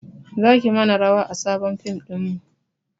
Zaki mana rawa a sabon fim ɗinmu